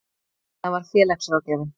Það var félagsráðgjafinn.